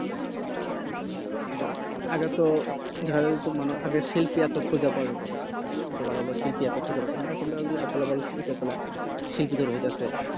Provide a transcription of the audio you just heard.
আগে তো ধরো আগে মানে শিল্পী এতো খুঁজে পাওয়া যেতো না এত ভালো শিল্পী এখন তো available শিল্পী কলা শিল্পী দের রয়ে গেছে